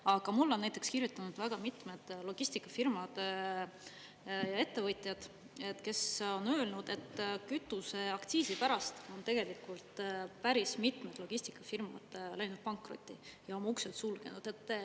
Aga mulle on näiteks kirjutanud väga mitmed logistikafirmad ja ettevõtjad, kes on öelnud, et kütuseaktsiisi pärast on tegelikult päris mitmed logistikafirmad läinud pankrotti ja oma uksed sulgenud.